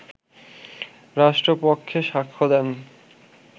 রাষ্ট্রপক্ষে সাক্ষ্য দেন